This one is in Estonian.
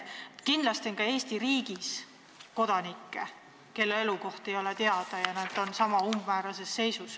Kindlasti on ka Eesti riigis kodanikke, kelle elukoht ei ole teada, ja nad on niisama umbmäärases seisus.